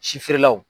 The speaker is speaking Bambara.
Si feerelaw